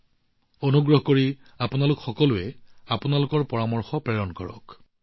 মই আপোনালোক সকলোকে আপোনালোকৰ পৰামৰ্শ প্ৰেৰণ কৰিবলৈ অনুৰোধ জনাইছো